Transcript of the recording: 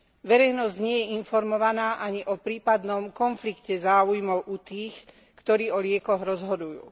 Verejnosť nie je informovaná ani o prípadnom konflikte záujmov u tých, ktorí o liekoch rozhodujú.